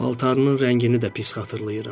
Paltarının rəngini də pis xatırlayıram.